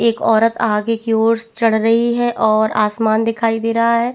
एक औरत आगे की और चढ़ रही है और आसमान दिखाई दे रहा है।